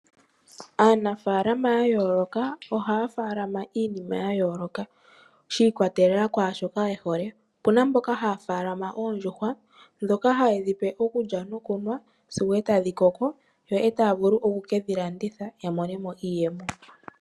Aanafaalama ya yooloka ohaya faalama iinima ya yooloka shi ikwatelela kwaashoka yehole. Opuna mboka haya faalama oondjuhwa ndhoka ha yedhi pe okulya nokunwa, sigo e tadhi koko, yo e taya vulu oku kedhi landitha ya mone mo iiyemo.